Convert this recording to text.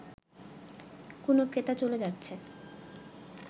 কোন ক্রেতা চলে যাচ্ছে